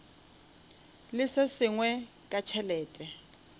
le se sengwe ka tšhelete